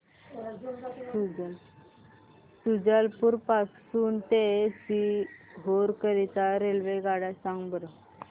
शुजालपुर पासून ते सीहोर करीता रेल्वेगाड्या सांगा बरं